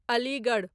Aligarh